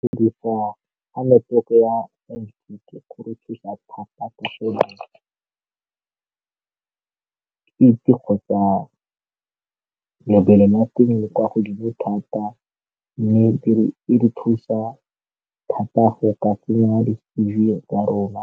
Ke dirisa ga network ya kgotsa lebelela teng kwa godimo thata mme e re thusa thata go ka tsenya tsa rona